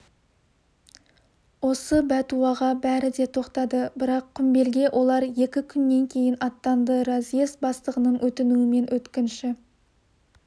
осы бәтуаға бәрі де тоқтады бірақ құмбелге олар екі күннен кейін аттанды разъезд бастығының өтінуімен өткінші